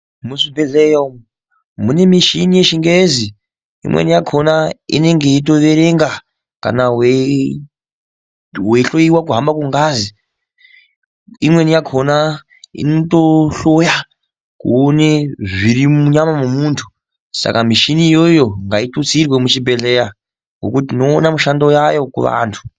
Muchibhedhleya umu mune michini yechingezi inweni yakhona inenge yeitoerenga kana weihloyiwa kuhamba kwengazi imweni yakhona inotohloya kuone zviri munyama memunthu saka michini iyoyo ngaitutsirwe muchibhedhleya ngokuti tinoona mishando yayo kuvanthu.